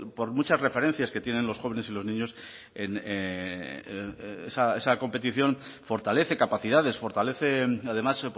por muchas referencias que tienen los jóvenes y los niños en esa competición fortalece capacidades fortalece además